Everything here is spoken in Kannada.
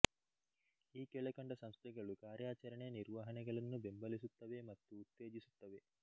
ಈ ಕೆಳಕಂಡ ಸಂಸ್ಥೆಗಳು ಕಾರ್ಯಾಚರಣೆ ನಿರ್ವಹಣೆಗಳನ್ನು ಬೆಂಬಲಿಸುತ್ತವೆ ಮತ್ತು ಉತ್ತೇಜಿಸುತ್ತವೆ